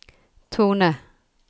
tone